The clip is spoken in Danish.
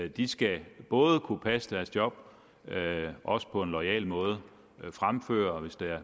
de skal både kunne passe deres job også på en loyal måde fremføre